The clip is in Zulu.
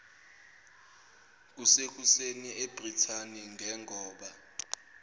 kusekuseni ebrithani ngengoba